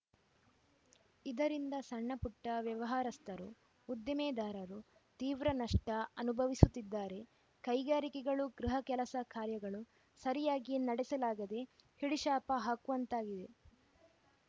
ಇದರಿಂದ ಸಣ್ಣ ಪುಟ್ಟವ್ಯಾವಾರಸ್ಥರು ಉದ್ದಿಮೆದಾರರು ತೀವ್ರ ನಷ್ಟಅನುಭವಿಸುತ್ತಿದ್ದಾರೆ ಕೈಗಾರಿಕೆಗಳು ಗೃಹ ಕೆಲಸ ಕಾರ್ಯಗಳು ಸರಿಯಾಗಿ ನಡೆಸಲಾಗದೇ ಹಿಡಿಶಾಪ ಹಾಕುವಂತಾಗಿದೆ